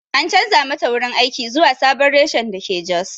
An chanza mata wurin aiki zuwa sabon reshen dake jos.